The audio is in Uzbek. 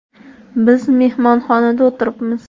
Biz mehmonxonada o‘tiribmiz.